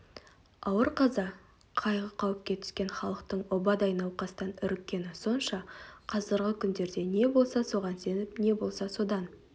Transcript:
ауыр қаза қайғы-қауіпке түскен халықтың обадай науқастан үріккені сонша қазіргі күндерде не болса соған сеніп не болса содан